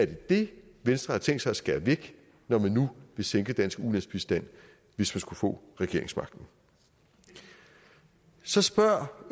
det det venstre har tænkt sig at skære væk når de nu vil sænke dansk ulandsbistand hvis de skulle få regeringsmagten så spørger